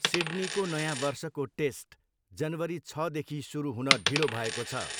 सिड्नीको नयाँ वर्षको टेस्ट जनवरी छदेखि सुरु हुन ढिलो भएको छ।